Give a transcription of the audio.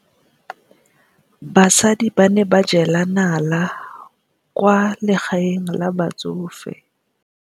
Basadi ba ne ba jela nala kwaa legaeng la batsofe.